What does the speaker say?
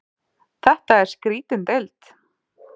Þetta er skrýtin deild.